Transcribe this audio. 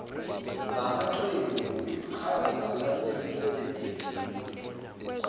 zamaqembu kwiqhaza nasemisebenzini